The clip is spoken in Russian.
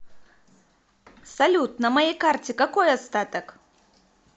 салют на моей карте какой остаток